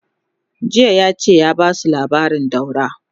jiya yace ya Basu labarin daura!